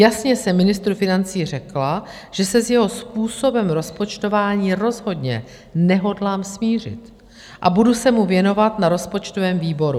Jasně jsem ministrovi financí řekla, že se s jeho způsobem rozpočtování rozhodně nehodlám smířit a budu se mu věnovat na rozpočtovém výboru.